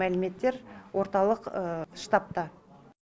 мәліметтер орталық штабта